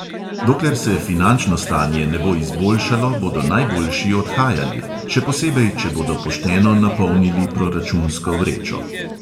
Dokler se finančno stanje ne bo izboljšalo, bodo najboljši odhajali, še posebej, če bodo pošteno napolnili proračunsko vrečo.